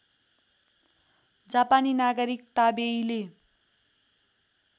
जापानी नागरिक ताबेईले